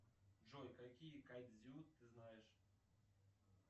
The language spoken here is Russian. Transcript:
джой какие кодзю ты знаешь